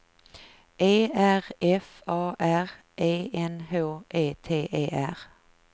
E R F A R E N H E T E R